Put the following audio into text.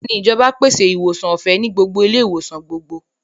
Bẹ́ẹ̀ni, ìjọba pèsè ìwòsàn ọ̀fẹ́ ní gbogbo ilé-ìwòsàn gbogbogbò.